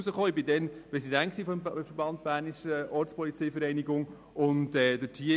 Ich war damals Präsident des Vereines Bernische Ortspolizeivereinigung (BOV).